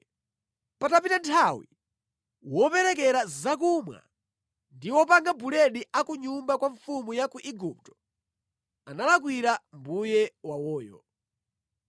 Patapita nthawi, woperekera zakumwa ndi wopanga buledi a ku nyumba kwa mfumu ya ku Igupto analakwira mbuye wawoyo.